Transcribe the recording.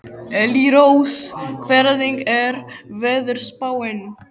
Elírós, hvernig er veðurspáin?